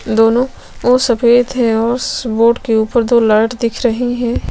दोनों ओर सफ़ेद है और उस बोर्ड के ऊपर दो लाइट दिख रही है।